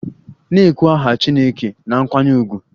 Na-ekwu aha chineke na nkwanye ùgwù!